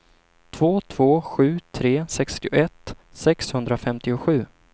två två sju tre sextioett sexhundrafemtiosju